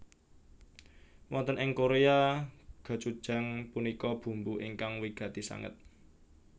Wonten ing Korea gochujang punika bumbu ingkang wigati sanget